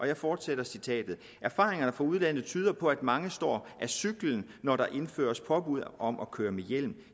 jeg fortsætter citatet erfaringerne fra udlandet tyder på at mange står af cyklen når der indføres påbud om at køre med hjelm